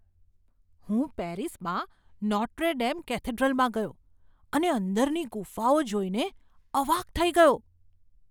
હું પેરિસમાં Notre Dame કેથેડ્રલમાં ગયો અને અંદરની ગુફાઓ જોઈને અવાક થઈ ગયો.